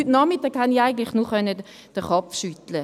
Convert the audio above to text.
Heute Nachmittag konnte ich eigentlich nur den Kopf schütteln.